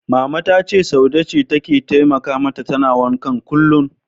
Mama ta ce Saude ce take taimaka mata tana wankan kullum.